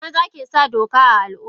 Maza kesa doka a Al umma.